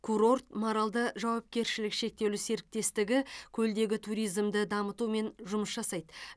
курорт маралды жауапкершілігі шектеулі серіктестігі көлдегі туризмді дамытумен жұмыс жасайды